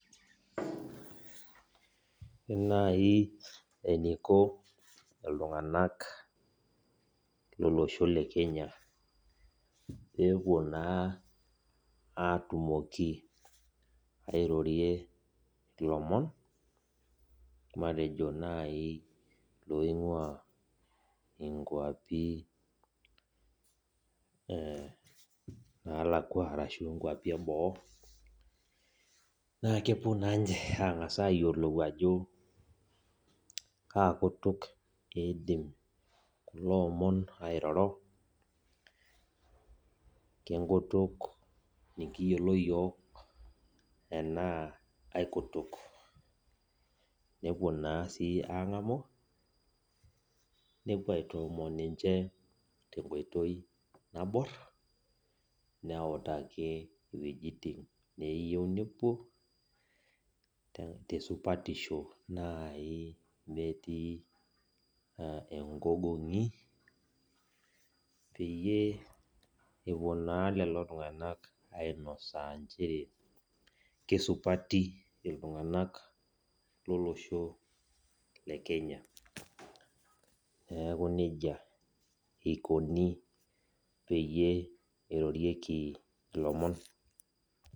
Ore nai eniko iltung'anak lolosho le Kenya pepuo naa atumoki airorie ilomon, matejo nai loing'ua inkwapi nalakwa arashu inkwapi eboo, na kepuo nanche ang'asa ayiolou ajo, kakutuk eidim kulo omon airoro, kenkutuk nikiyiolo yiok, enaa aikutuk. Nepuo naa si ang'amu, nepuo aitoomon ninche tenkoitoi nabor, neutaki wuejiting neyieu nepuo, tesupatisho nai metii egogong'i, peyie epuo naa lelo tung'anak ainosaa njere kesupati iltung'anak lolosho le Kenya. Neeku nejia ikoni peyie irorieki ilomon.